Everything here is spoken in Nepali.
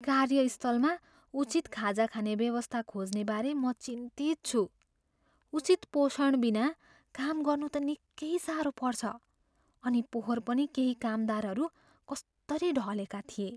कार्यस्थलमा उचित खाजा खाने व्यवस्था खोज्नेबारे म चिन्तित छु। उचित पोषणबिना काम गर्नु त निकै साह्रो पर्छ, अनि पोहोर पनि केही कामदारहरू कस्तरी ढलेका थिए।